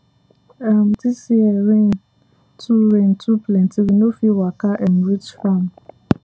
um this year rain too rain too plenty we no fit waka um reach farm